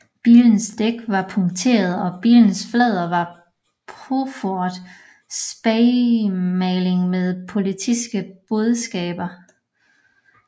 Bilens dæk var punkterede og bilens flader var påført spaymaling med politiske budskaber